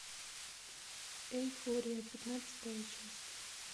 эйфория пятнадцатая часть